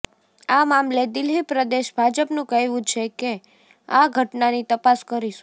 આ મામલે દિલ્હી પ્રદેશ ભાજપનું કહેવું છે કે આ ઘટના ની તપાસ કરીશું